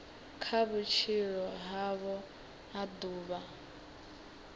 kha vhutshilo havho ha ḓuvha